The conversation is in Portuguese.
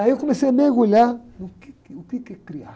Aí eu comecei a mergulhar no quê que, o quê que é criar.